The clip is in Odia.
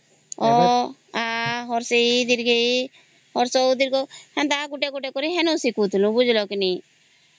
ଅ ଆ ହ୍ରଶେଇ ଦୀର୍ଘେଇ ହ୍ରସହଉ ଦିର୍ଘଉ ସେନ୍ତା ଗୋଟେ ସିଖୁଥିଲୁ ବୁଝିଲ କି ନାଇଁ